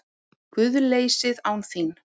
GUÐLEYSIÐ ÁN ÞÍN